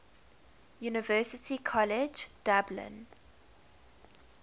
university college dublin